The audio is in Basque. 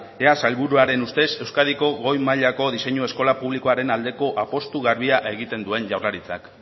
ea sailburuaren ustez euskadiko goi mailako diseinu eskola publikoaren aldeko apustua garbia egiten duen jaurlaritzak